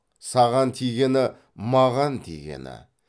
саған тигені маған тигені